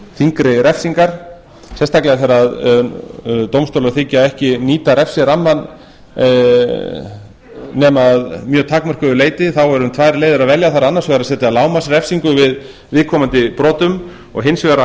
þyngri refsingar sérstaklega þegar dómstólar þiggja ekki að nýta refsirammann nema að mjög takmörkuðu leyti þá er um tvær leiðir að velja það er annars vegar að setja lágmarksrefsingu við viðkomandi brotum og hins vegar að